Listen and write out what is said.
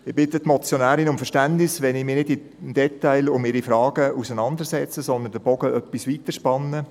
Ich bitte die Motionärin um Verständnis, wenn ich mich nicht im Detail mit ihren Fragen auseinandersetze, sondern den Bogen etwas weiterspanne.